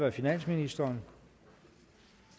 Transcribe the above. af finansministeren